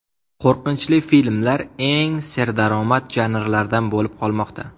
Qo‘rqinchli filmlar eng serdaromad janrlardan bo‘lib qolmoqda.